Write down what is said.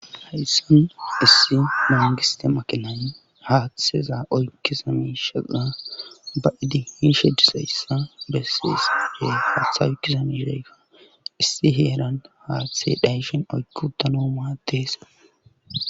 hayssin issi mongiste makinan haathiseza oykkisami shala ba idihishe disayssa bessi isirey haaththa wuykisamireyka issi heelan haathite dhayishin oykki utanoo maateesa